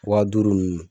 Wa duuru ninnu